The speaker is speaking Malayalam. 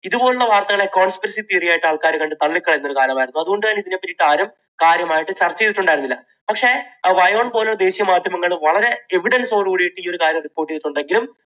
ഇതുപോലുള്ള വാർത്തകളെ conspiracy theory ആയിട്ട് ആൾക്കാർ കണ്ട് തള്ളിക്കളയുന്ന ഒരു കാലമായിരുന്നു. അതുകൊണ്ടുതന്നെ ഇതാരും കാര്യമായിട്ട് ചർച്ച ചെയ്തിട്ടുണ്ടായിരുന്നില്ല. പക്ഷേ പോലുള്ള ദേശീയ മാധ്യമങ്ങൾ വളരെ evidence ഓടുകൂടി ഈ കാര്യം report ചെയ്തിട്ടുണ്ടെങ്കിലും